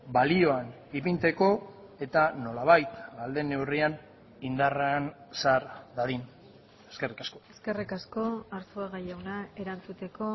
balioan ipintzeko eta nolabait ahal den neurrian indarrean sar dadin eskerrik asko eskerrik asko arzuaga jauna erantzuteko